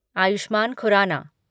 Ayushman Khurana